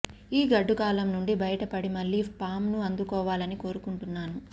ఈ గడ్డుకాలం నుండి బయటపడి మళ్లీ ఫామ్ ను అందుకోవాలని కోరుకుంటున్నాను